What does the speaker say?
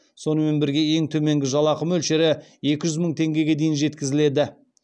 сонымен бірге ең төменгі жалақы мөлшері екі жүз мың теңгеге дейін жеткізіледі